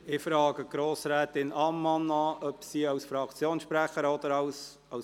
Ich frage Grossrätin Ammann an, ob sie als Fraktionssprecherin sprechen will.